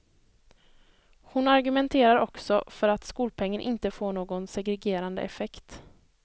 Hon argumenterar också för att skolpengen inte får någon segregerande effekt.